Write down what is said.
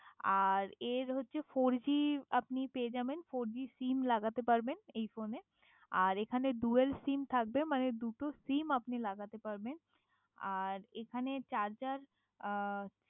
আর এর হচ্ছে four G আপনি পেয়ে যাবেন আর ফোর জি সিম লাগাতে পারবেন এই ফোনে, আর এখানে ডুয়াল সিম থাকবে মানে দুটো সিম আপনি লাগাতে পারবেন আর এখানে চার্জার